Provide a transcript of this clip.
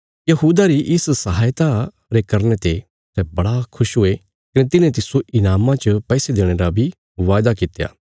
यहूदा री इस सहायता रे करने ते सै बड़े खुश हुये कने तिन्हें तिस्सो ईनामा च पैसे देणे रा बी बादा कित्या